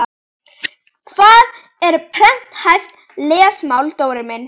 Hvað er prenthæft lesmál Dóri minn?